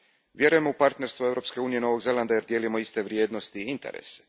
Vjerujem u partnerstvo Europske unije i Novog Zelanda jer dijelimo iste vrijednosti i interese.